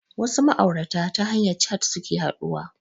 Wasu ma'aurata ta hanyar cat suke haɗuwa